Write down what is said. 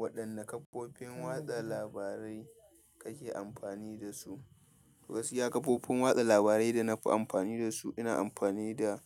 Waɗanne kafofin watsa labarai kake anfani dasu. Gaskiya kafofin watsa labarai da nafi amfani da su, ina amfani da